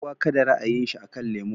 Kowa kada ra'ayin shi akan lemo